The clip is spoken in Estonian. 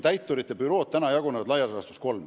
Täiturite bürood jagunevad laias laastus kolmeks.